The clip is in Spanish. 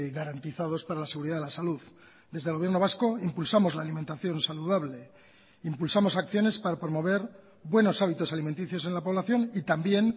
garantizados para la seguridad de la salud desde el gobierno vasco impulsamos la alimentación saludable impulsamos acciones para promover buenos hábitos alimenticios en la población y también